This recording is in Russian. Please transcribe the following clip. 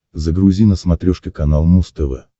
загрузи на смотрешке канал муз тв